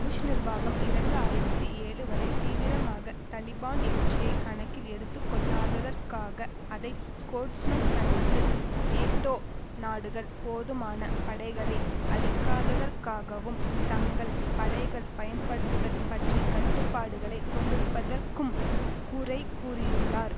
push நிர்வாகம் இரண்டு ஆயிரத்தி ஏழு வரை தீவிரமாக தலிபான் எழுச்சியை கணக்கில் எடுத்துக்கொள்ளாததற்காக அதை கோர்ட்ஸ்மன் கண்டித்து நேட்டோ நாடுகள் போதுமான படைகளை அளிக்காததற்காகவும் தங்கள் படைகள் பயன்படுத்ததுல் பற்றி கட்டுப்பாடுகளை கொண்டிருப்பதற்கும் குறைகூறியுள்ளார்